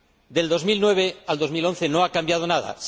De 2009 a 2011 no ha cambiado nada.